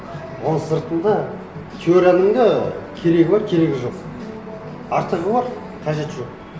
оның сыртында теорияның да керегі бар керегі жоқ артығы бар қажеті жоқ